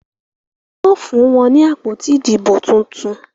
Wón fún wón ní àpótí Ìdìbò títún.